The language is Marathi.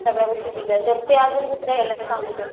सगळ्या गोष्टी दिल्या ते अजून दुसऱ्या